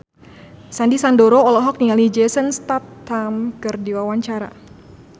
Sandy Sandoro olohok ningali Jason Statham keur diwawancara